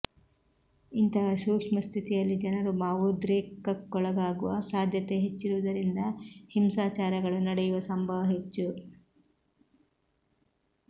ಇಂತಹ ಸೂಕ್ಷ್ಮ ಸ್ಥಿತಿಯಲ್ಲಿ ಜನರು ಭಾವೋದ್ರೇಕಕ್ಕೊಳಗಾಗುವ ಸಾಧ್ಯತೆ ಹೆಚ್ಚಿರುವುದರಿಂದ ಹಿಂಸಾಚಾರಗಳು ನಡೆಯುವ ಸಂಭವ ಹೆಚ್ಚು